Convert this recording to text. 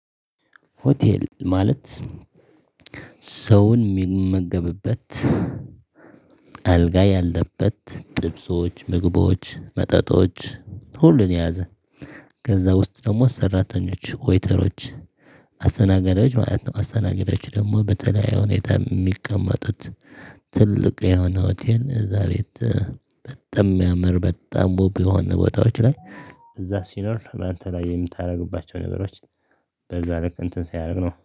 ሆቴል ማለት ሰው የሚመገብበት፣ አልጋ ያለበት፣ ጥብሶች፣ ምግቦች፣ መጠጦች ሁሉን የያዘ ከዛ ውስጥ ደግሞ ሰራተኞች፣ ወይተሮች፣ አስተናጋጃች ማለት ነው አስተናጋጆች ደግሞ በተለያዩ ሁኔታ የሚቀመጡት ትልቅ የሆነ ሆቴል እዛ ቤት በጣም ሚያምር በጣም ዉብ ቢሆን ቦታዎች ላይ እዛ ሲኖር እና የተለያዩ የምታደርግባቸው ነገሮች በዛ ነገር እንትን ሲያደርግ ነው።